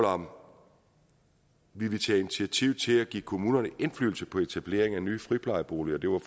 om vi ville tage initiativ til at give kommunerne indflydelse på etablering af nye friplejeboliger det var